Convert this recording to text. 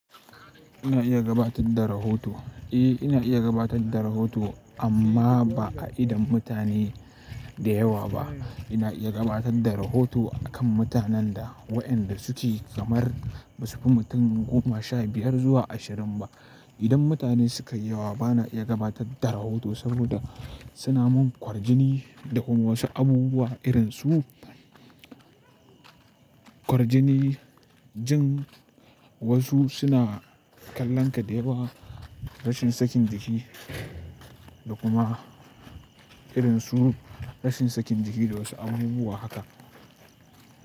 Ina iya gabatar da rahoto? Eh ina iya gabatar da rahoto amma ba a idon mutane da yawa ba. Ina iya gabatar da rahoto akan mutanen da wa'yanda suke kamar ba su fi mutum goma, sha biyar zuwa ashirin ba. Idan mutane suka yi yawa bana iya gabatar da rahoto saboda suna mun kwarjini da kuma wasu abubuwa irin su kwarjini, jin wasu suna kallon ka da yawa, rashin sakin jiki da kuma irin su rashin sakin jiki da wasu abubuwa haka.